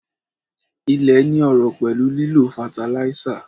Ilé ní ọrọ̀ pẹ̀lú lílo fataláísà